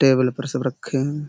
Table पर सब रखे हैं।